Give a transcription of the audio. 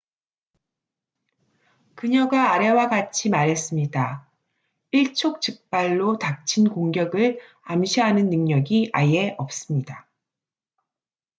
"그녀가 아래와 같이 말했습니다. "일촉즉발로 닥친 공격을 암시하는 능력이 아예 없습니다.